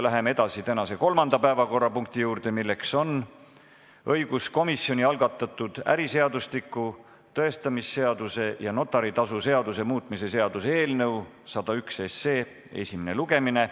Läheme edasi tänase kolmanda päevakorrapunkti juurde: õiguskomisjoni algatatud äriseadustiku, tõestamisseaduse ja notari tasu seaduse muutmise seaduse eelnõu 101 esimene lugemine.